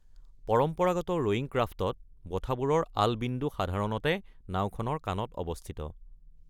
পৰম্পৰাগত ৰয়িং ক্ৰাফ্টত ব'ঠাবোৰৰ আল বিন্দু সাধাৰণতে নাওখনৰ কাণত অৱস্থিত।